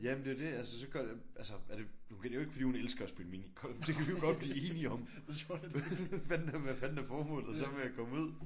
Jamen det er jo det altså så gør det altså er det okay det er jo ikke fordi hun elsker at spille minigolf. Det kan vi godt blive enige om. Men hvad fanden hvad fanden er så formålet med at komme ud?